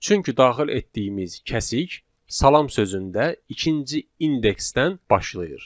Çünki daxil etdiyimiz kəsik salam sözündə ikinci indeksdən başlayır.